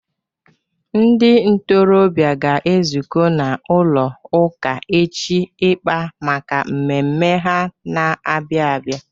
Ndị ntorobịa ga-ezuko n'ụlọ ụka echi ịkpa maka mmemme ha na-abịa abịa.